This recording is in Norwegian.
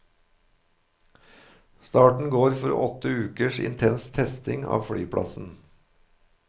Starten går for åtte ukers intens testing av flyplassen.